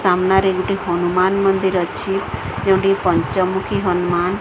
ସାମ୍ନାରେ ଗୋଟେ ହନୁମାନ୍ ମନ୍ଦିର ଅଛି ଯୋଉଠି କି ପଞ୍ଚମୁଖୀ ହନୁମାନ୍ --